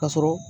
Ka sɔrɔ